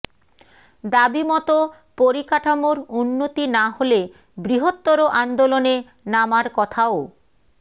দাবি মতো পরিকাঠামোর উন্নতি না হলে বৃহত্তর আন্দোলনে নামার কথাও